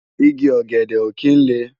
Igi ògèdè ó kin lé